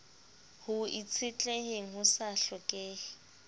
ho itshetleheng ho sa hlokeheng